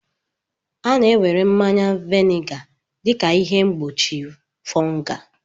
A na-ewere mmanya vinega dị ka ihe mgbochi fungal